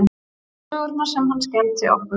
Sögurnar sem hann skemmti okkur